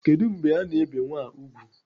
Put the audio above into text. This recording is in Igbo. Kedụ mgbe ana ebe nwa a ùgwù?